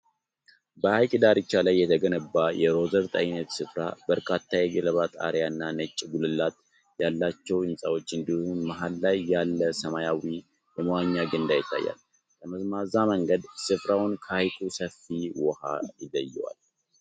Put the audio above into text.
በሐይቅ ዳርቻ ላይ የተገነባ የሪዞርት ዓይነት ሥፍራ። በርካታ የገለባ ጣሪያ እና ነጭ ጉልላት ያላቸው ሕንፃዎች እንዲሁም፤ መሃል ላይ ያለ ሰማያዊ የመዋኛ ገንዳ ይታያል። ጠመዝማዛ መንገድ ሥፍራውን ከሐይቁ ሰፊ ውሃ ይለየዋል።